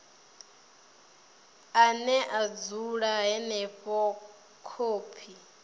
ane a dzula henefho khophi